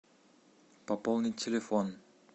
пополнить телефон